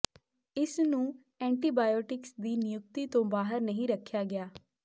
ਇਸ ਨੂੰ ਐਂਟੀਬਾਇਓਟਿਕਸ ਦੀ ਨਿਯੁਕਤੀ ਤੋਂ ਬਾਹਰ ਨਹੀਂ ਰੱਖਿਆ ਗਿਆ